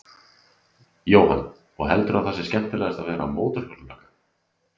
Jóhann: Og heldurðu að það sé skemmtilegast að vera mótorhjólalögga?